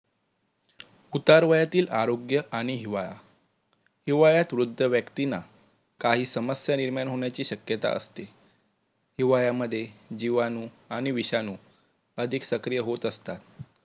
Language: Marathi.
उतार वयातील आरोग्य आणि हिवाळा, हिवाळ्यात वृद्ध व्यक्तींना काही समस्या निर्माण होण्याची शक्यता असते. हिवाळ्या मध्ये जीवाणु आणि विषाणु अधिक सक्रिय होत असतात